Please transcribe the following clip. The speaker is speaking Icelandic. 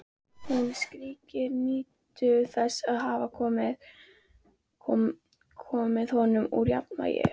Hún skríkir, nýtur þess að hafa komið honum úr jafnvægi.